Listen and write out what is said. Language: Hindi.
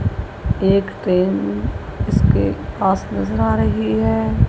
एक ट्रेन उसके पास नजर आ रही है।